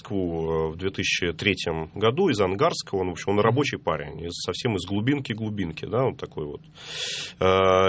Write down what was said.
ну в две тысячи третьем году из ангарска он рабочий парень он совсем из глубинки глубинки вот такой вот а